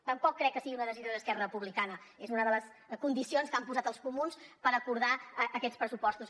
tampoc crec que sigui una decisió d’esquerra republicana és una de les condicions que han posat els comuns per acordar aquests pressupostos